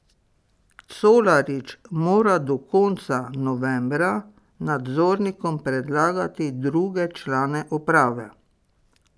Colarič mora do konca novembra nadzornikom predlagati druge člane uprave.